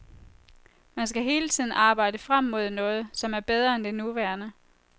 Man skal hele tiden arbejde frem mod noget, som er bedre end det nuværende.